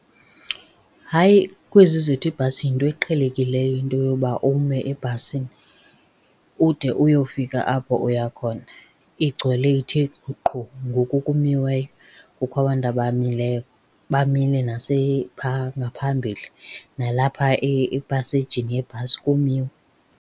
Hayi kwezi zethu iibhasi yinto eqhelekileyo into yoba uba ume ebhasini ude uyofika apho uya khona. Igcwele ithe qhu ngoku kumiweyo, kukho abantu abamileyo, bamile pha ngaphambili, nalapha epasejini yebhasi kumiwe.